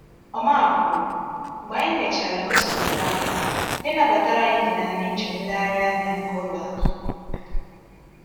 Omar kwuru: “Mgbe anyị mechara ngosipụta anyị, ndị nabatara anyị nyere anyị njem nlegharị anya nke ụlọ ahụ.”